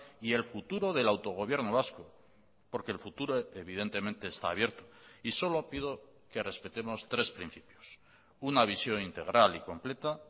y el futuro del autogobierno vasco porque el futuro evidentemente está abierto y solo pido que respetemos tres principios una visión integral y completa